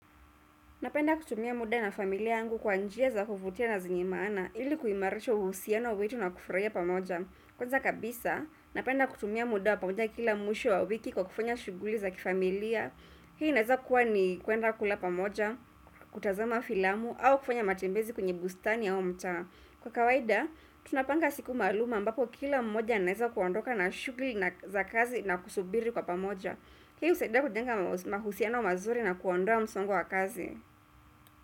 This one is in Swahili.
Napenda kutumia muda na familia angu kwa njia za huvutia na zingimana ili kuimarisho uhusiano wetu na kufuraia pamoja. Kwanza kabisa, napenda kutumia muda pamoja kila mwisho wa wiki kwa kufanya shuguli za kifamilia. Hii naeza kuwa ni kwenda kula pamoja, kutazama filamu, au kufanya matembezi kwenye bustani au mta. Kwa kawaida, tunapanga siku maaluma ambapo kila mwisho naeza kuandoka na shuguli za kazi na kusubiri kwa pamoja. Hii usaidia kujenga mahusiano mazuri na kuandua msongo wa kazi.